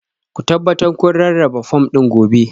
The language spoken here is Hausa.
Ku tabbata kun rarraba fom ɗin gobe